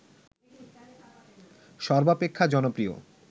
সর্বাপেক্ষা জনপ্রিয়